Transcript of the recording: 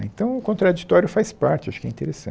Né então, o contraditório faz parte, acho que é interessante.